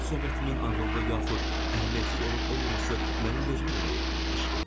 Söhbətimin ağıllı yaxud əhəmiyyətsiz olub olmaması mənim vecimə də deyil.